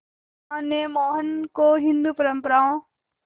मां ने मोहन को हिंदू परंपराओं